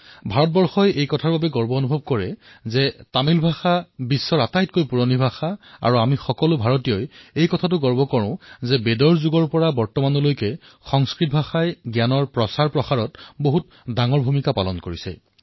ভাৰতে এই কথাত গৰ্ববোধ কৰে যে তামিল ভাষা বিশ্বৰ সবাতোকৈ পুৰণি ভাষা আৰু আমি সকলো ভাৰতীয়ই এই কথাতো গৌৰৱ কৰোঁ যে বেদকালৰ পৰা বৰ্তমানলৈ সংস্কৃত ভাষাইও জ্ঞান প্ৰচাৰত বিশেষ ভূমিকা পালন কৰিছে